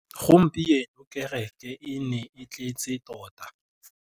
Gompieno kêrêkê e ne e tletse tota.